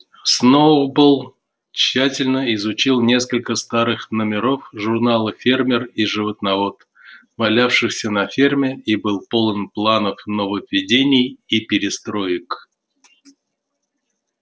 сноуболл тщательно изучил несколько старых номеров журнала фермер и животновод валявшихся на ферме и был полон планов нововведений и перестроек